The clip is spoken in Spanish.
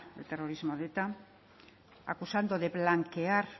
el terrorismo de eta acusando de blanquear